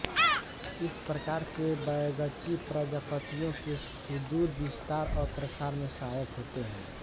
इस प्रकार के बैगची प्रजापतियों के सुदूर विस्तार और प्रसार में सहायक होते हैं